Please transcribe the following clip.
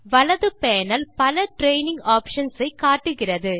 வலது பேனல் பல training options ஐ காட்டுகிறது